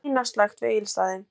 Sina slökkt við Egilsstaði